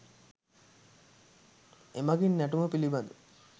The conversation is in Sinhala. එමගින් නැටුම පිළිබඳ